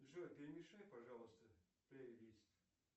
джой перемешай пожалуйста плейлист